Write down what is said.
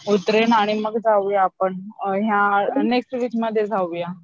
उतरेन आणि मग जाऊया आपण ह्या, नेक्स्ट वीक मध्ये जाऊया